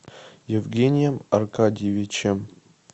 евгением аркадьевичем